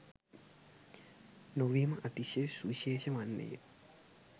නොවීම අතිශය සුවිශේෂී වන්නේය.